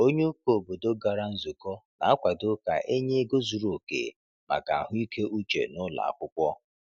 Onye ụkọ obodo gara nzukọ na-akwado ka e nye ego zuru oke maka ahụike uche n’ụlọ akwụkwọ.